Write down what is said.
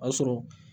O y'a sɔrɔ